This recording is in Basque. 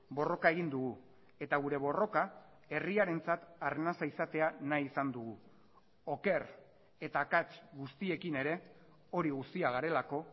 borroka egin dugu eta gure borroka herriarentzat arnasa izatea nahi izan dugu oker eta akats guztiekin ere hori guztia garelako